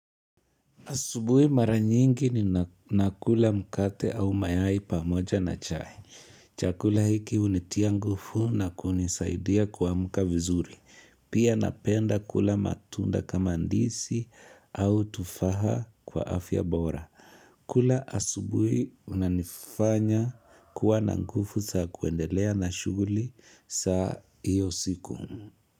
Asubuhi mara nyingi ni nakula mkate au mayai pamoja na chai. Chakula hiki hunitia nguvu na kunisaidia kuamka vizuri. Pia napenda kula matunda kama ndizi au tufaha kwa afya bora. Kula asubuhi unanifanya kuwa na nguvu za kuendelea na shughuli saa iyo siku.